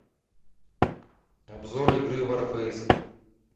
обзор игры варфейс